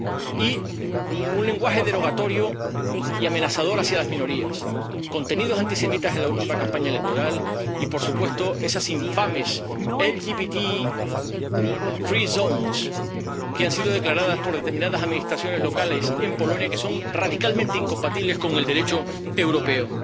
Y un lenguaje derogatorio y amenazador hacia las minorías, contenidos antisemitas en la última campaña electoral y, por supuesto, esas infames LGBTI free zones que han sido declaradas por determinadas Administraciones locales en Polonia, que son radicalmente incompatibles con el Derecho europeo.